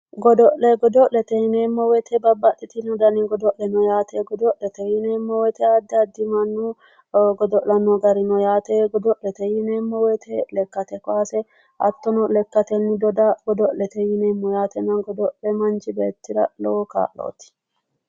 Godo'le, godo'lete yinneemmo woyte babbaxitino danni godo'le noo yaate, godo'lete yinneemmo woyte addi addi mannoti godo'lano gari no yaate ,godo'lete yinneemmo woyte lekkate kowaase, hattono lekkateni doda godo'lete yinneemmo yaate, godo'le manchi beettira lowo kaa'loti.